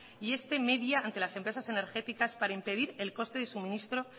y este media ante las empresas energéticas para impedir el corte de suministro